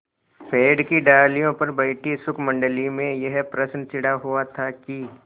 पेड़ की डालियों पर बैठी शुकमंडली में यह प्रश्न छिड़ा हुआ था कि